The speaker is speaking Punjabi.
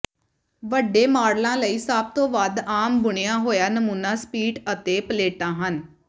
ਵੱਡੇ ਮਾਡਲਾਂ ਲਈ ਸਭ ਤੋਂ ਵੱਧ ਆਮ ਬੁਣਿਆ ਹੋਇਆ ਨਮੂਨਾ ਸਪਿਟ ਅਤੇ ਪਲੇਟਾਂ ਹਨ